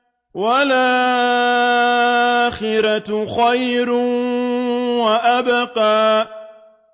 وَالْآخِرَةُ خَيْرٌ وَأَبْقَىٰ